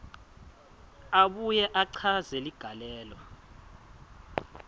abuye achaze ligalelo